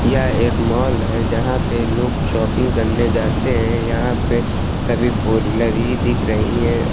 यह एक मॉल है यहां पे लोग शॉपिंग करने जाते हैं यहां पे सभी फोर व्हीलर ही दिख रही हैं अह--